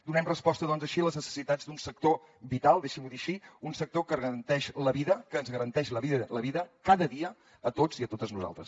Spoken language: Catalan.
donem resposta doncs així a les necessitats d’un sector vital deixi’m ho dir així un sector que garanteix la vida que ens garanteix la vida cada dia a tots i a totes nosaltres